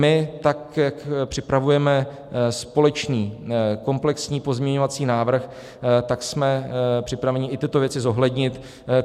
My, tak jak připravujeme společný komplexní pozměňovací návrh, tak jsme připraveni i tyto věci zohlednit.